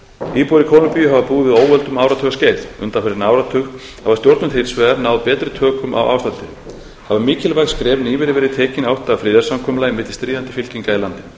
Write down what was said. íbúar í kólumbíu hafa búið við óöld um áratugaskeið undanfarinn áratug hafa stjórnvöld hins vegar náð betri tökum á ástandinu hafa mikilvæg skref nýverið verið tekin í átt að friðarsamkomulagi milli stríðandi fylkinga í landinu